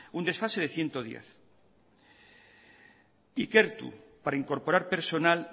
un desfase de ciento diez ikertu para incorporar personal